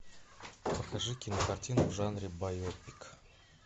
покажи кинокартину в жанре байопик